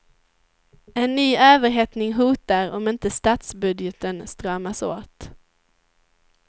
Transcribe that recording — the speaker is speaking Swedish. En ny överhettning hotar om inte statsbudgeten stramas åt.